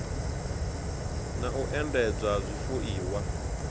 na u endedzwa ha zwifuiwa